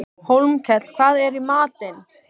Hólmkell, hvað er í matinn?